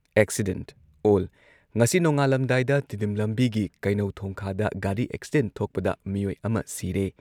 accident ꯑꯣꯜ ꯉꯁꯤ ꯅꯣꯡꯉꯥꯜꯂꯝꯗꯥꯏꯗ ꯇꯤꯗꯤꯝ ꯂꯝꯕꯤꯒꯤ ꯀꯩꯅꯧ ꯊꯣꯡꯈꯥꯗ ꯒꯥꯔꯤ ꯑꯦꯛꯁꯤꯗꯦꯟꯠ ꯊꯣꯛꯄꯗ ꯃꯤꯑꯣꯏ ꯑꯃ ꯁꯤꯔꯦ